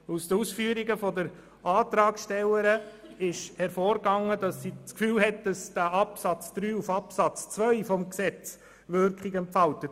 Aus den Ausführungen der Antragstellerin ist hervorgegangen, dass sie das Gefühl hat, Absatz 3 entfalte Wirkung auf Absatz 2 des Artikels.